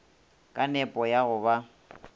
ka nepo ya go ba